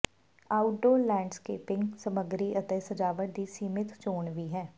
outdoor landscaping ਸਮੱਗਰੀ ਅਤੇ ਸਜਾਵਟ ਦੀ ਸੀਮਿਤ ਚੋਣ ਵੀ ਹੈ